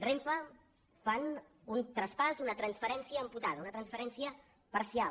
renfe fan un traspàs una transferència amputada una transferència parcial